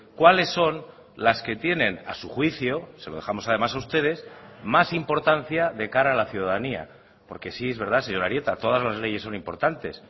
cuáles son las que tienen a su juicio se lo dejamos además a ustedes más importancia de cara a la ciudadanía porque sí es verdad señor arieta todas las leyes son importantes